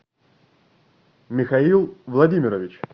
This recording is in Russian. михаил владимирович